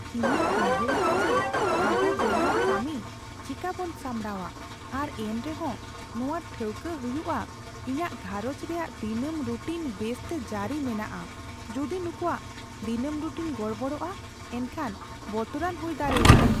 ᱤᱧᱤᱧ ᱩᱭᱦᱟᱹᱨᱮᱫᱟ ᱡᱮ ᱟᱵᱚ ᱵᱮᱱᱟᱣ ᱠᱟᱹᱢᱤ ᱪᱮᱠᱟᱵᱚᱱ ᱥᱟᱢᱲᱟᱣᱟ ᱟᱨ ᱮᱱᱛᱮᱦᱚᱸ ᱱᱚᱣᱟ ᱴᱷᱟᱹᱣᱠᱟᱹ ᱦᱩᱭᱩᱜᱼᱟ ᱤᱧᱟᱹᱜ ᱜᱷᱟᱨᱚᱸᱡ ᱨᱮᱭᱟᱜ ᱫᱤᱱᱟᱹᱢ ᱨᱩᱴᱤᱱ ᱵᱮᱥᱛᱮ ᱡᱟᱹᱨᱤ ᱢᱮᱱᱟᱜᱼᱟ ᱾ ᱡᱩᱫᱤ ᱱᱩᱠᱩᱣᱟᱜ ᱫᱤᱱᱟᱹᱢ ᱨᱩᱴᱤᱱ ᱜᱚᱲᱵᱚᱲᱚᱜᱼᱟ ᱮᱱᱠᱷᱟᱱ ᱵᱚᱛᱚᱨᱟᱱ ᱦᱩᱭ ᱫᱟᱲᱮᱭᱟᱜᱼᱟ ᱾